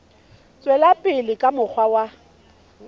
tswela pele ka mokgwa wa